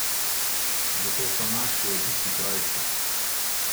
Zato so naši oddihi krajši.